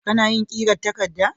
Kana yin ƙirar takarda?